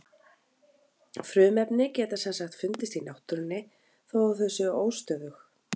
frumefni geta sem sagt fundist í náttúrunni þó að þau séu óstöðug